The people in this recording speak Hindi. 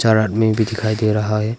और आदमी भी दिखाई दे रहा है।